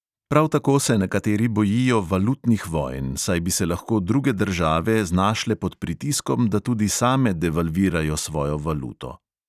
Prav tako se nekateri bojijo valutnih vojn, saj bi se lahko druge države znašle pod pritiskom, da tudi same devalvirajo svojo valuto.